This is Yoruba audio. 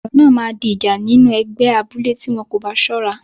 Ọ̀rọ̀ náà máa di ìjà nínú ẹgbẹ́ abúlé tí wọn kò bá ṣọ́ra.